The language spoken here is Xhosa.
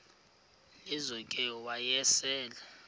lizo ke wayesel